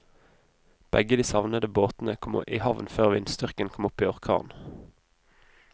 Begge de savnede båtene kom i havn før vindstyrken kom opp i orkan.